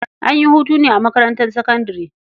An yi hutu ne a makarntar sakandare.